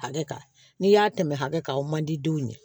Hakɛ kan n'i y'a tɛmɛ hakɛ kan o man di denw ye